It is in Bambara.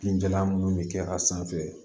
Binjalan minnu bɛ kɛ a sanfɛ